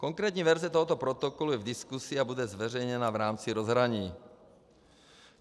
Konkrétní verze tohoto protokolu je v diskuzi a bude zveřejněna v rámci rozhraní.